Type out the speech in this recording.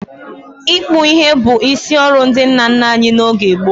Ịkpụ ihe bụ isi ọrụ ndị nna nna anyị n'oge gboo.